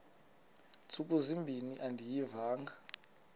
ntsuku zimbin andiyivanga